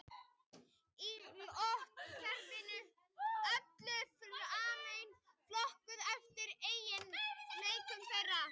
Í lotukerfinu eru öll frumefnin flokkuð eftir eiginleikum þeirra.